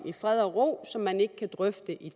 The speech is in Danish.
i fred og ro som man ikke kan drøfte i